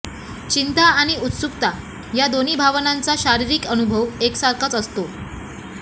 चिंता आणि उत्सुकता या दोन्ही भावनांचा शारीरिक अनुभव एकसारखाच असतो